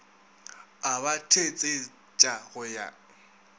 a ba thetsetša go ya